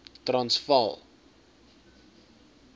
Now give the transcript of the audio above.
transvaal